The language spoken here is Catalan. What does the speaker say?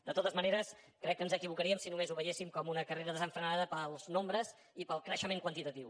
de totes maneres crec que ens equivocaríem si només ho veiéssim com una carrera desenfrenada pels nombres i pel creixement quantitatiu